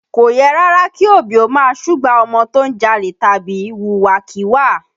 Kò yẹ rárá kí òbí ó máa súgbà ọmọ tó ń jalè tàbí wùwà kíwà